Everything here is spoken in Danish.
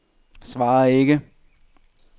svar ikke